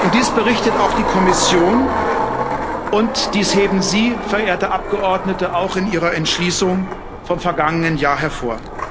Das berichtet auch die Kommission, und das heben Sie, verehrte Abgeordnete, auch in ihrer Entschließung vom vergangenen Jahr hervor.